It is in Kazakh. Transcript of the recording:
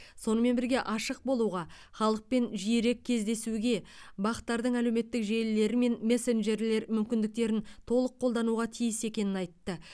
сонымен бірге ашық болуға халықпен жиірек кездесуге бақ тардың әлеуметтік желілер мен мессенджерлер мүмкіндіктерін толық қолдануға тиіс екенін айтты